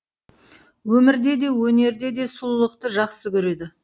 өмірде де өнерде де сұлулықты жақсы көреді